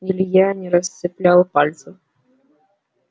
илья не расцеплял пальцев